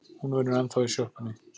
Hún vinnur ennþá í sjoppunni.